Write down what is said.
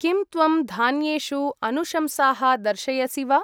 किं त्वं धान्येषु अनुशंसाः दर्शयसि वा?